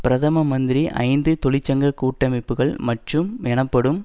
பிரதம மந்திரி ஐந்து தொழிற்சங்க கூட்டமைப்புக்கள் மற்றும் எனப்படும்